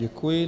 Děkuji.